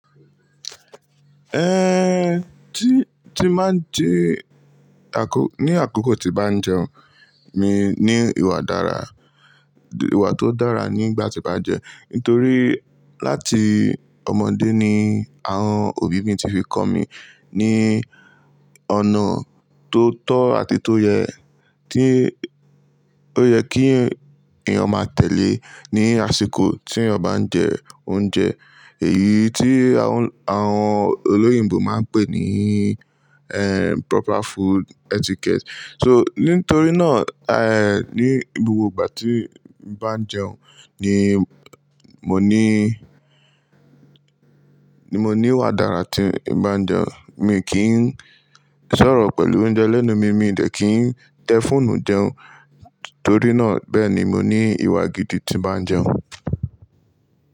Eh, tí tí máa ń jẹ àkó, ní àkókó tí bá ń jẹun, ni mi ìwà dára, ìwà tó dára nígbà tí bá ń jẹ. Ítorí láti ọmọdé ni àwọn òbí mi ti fi kọ́ mi ní ọ̀nà tó tọ́ àti tó yẹ, tí ó yẹ kí èèyàn máa tẹ̀lé ní àsìkò tí eeyan ba ń jẹ oúnjẹ. Èyí tí àwọn, àwọn olóyìnbo máa ń pè ní, eh, proper food etiquette. So nítorí náà, eh, ní gbogbo ìgbà tí ń bá ń jẹun ni mo ní, ni mo ní ìwà dára tí ń bá ń jẹun. Mi kì ń sọ̀rọ̀ pẹ̀lú oúnjẹ lẹ́nu mi, mi ò dẹ̀ kí ń tẹ fóònù jẹun, torí náà bẹ́ẹ̀ ni mo ní ìwà gidi tí bá ń jẹun.